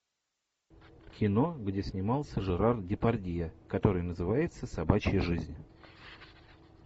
кино где снимался жерар депардье который называется собачья жизнь